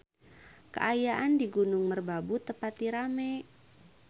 Kaayaan di Gunung Merbabu teu pati rame